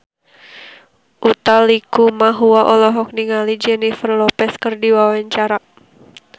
Utha Likumahua olohok ningali Jennifer Lopez keur diwawancara